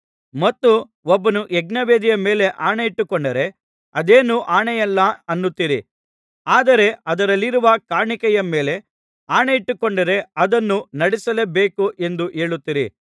ಮತ್ತು ಒಬ್ಬನು ಯಜ್ಞವೇದಿಯ ಮೇಲೆ ಆಣೆಯಿಟ್ಟುಕೊಂಡರೆ ಅದೇನು ಆಣೆಯಲ್ಲ ಅನ್ನುತ್ತೀರಿ ಆದರೆ ಅದರಲ್ಲಿರುವ ಕಾಣಿಕೆಯ ಮೇಲೆ ಆಣೆಯಿಟ್ಟುಕೊಂಡರೆ ಅದನ್ನು ನಡಿಸಲೇಬೇಕು ಎಂದು ಹೇಳುತ್ತೀರಿ